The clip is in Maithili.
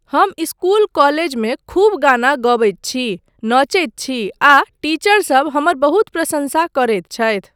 हम इसकुल कॉलेजमे खूब गाना गबैत छी, नचैत छी आ टीचरसब हमर बहुत प्रशंसा करैत छथि।